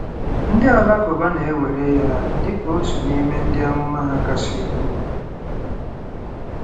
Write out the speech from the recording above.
Ndị Alakụba na-ewere ya dị ka otu n'ime ndị amụma ha kasị ukwuu.